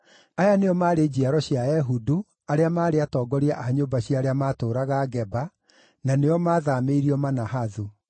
Aya nĩo maarĩ njiaro cia Ehudu, arĩa maarĩ atongoria a nyũmba cia arĩa maatũũraga Geba, na nĩo maathaamĩirio Manahathu: